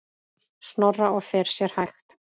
Snorra og fer sér hægt.